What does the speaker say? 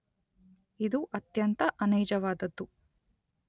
ಇದು ಅತ್ಯಂತ ಅನೈಜವಾದದ್ದು.